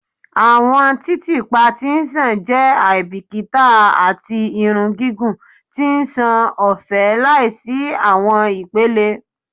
Awọn titiipa ti nṣàn jẹ aibikita ati irun gigun ti nṣan ọfẹ laisi awọn ipele